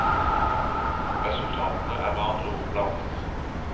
Resultatene er med andre ord blandet.